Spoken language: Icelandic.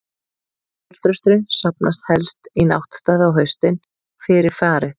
Skógarþrösturinn safnast helst í náttstaði á haustin, fyrir farið.